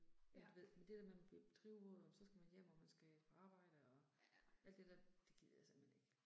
Men du ved, men det der med man bliver drivvåd og så skal man hjem og man skal på arbejde og alt det der, det gider jeg simpelthen ikke